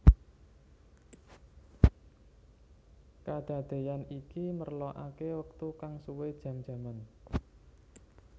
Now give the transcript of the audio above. Kadadéyan iki merlokaké wektu kang suwé jam jaman